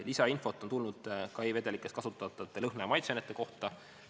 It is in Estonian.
Lisainfot on tulnud ka e-vedelikes kasutatavate lõhna- ja maitseainete kohta.